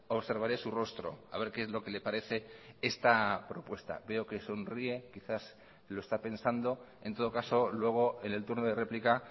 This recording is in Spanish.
observaré su rostro a ver qué es lo que le parece esta propuesta veo que sonríe quizás lo está pensando en todo caso luego en el turno de réplica